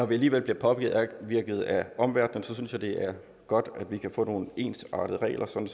vi alligevel bliver påvirket af omverdenen synes jeg det er godt at vi kan få nogle ensartede regler sådan